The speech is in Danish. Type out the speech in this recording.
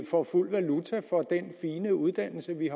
får fuld valuta for den fine uddannelse vi